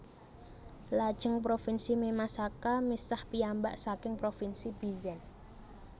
Lajeng Provinsi Mimasaka misah piyambak saking Provinsi Bizen